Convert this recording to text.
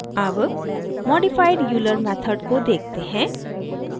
अब modified euler method को देखते हैं